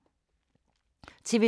TV 2